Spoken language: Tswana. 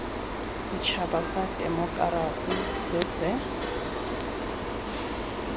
setšhaba sa temokerasi se se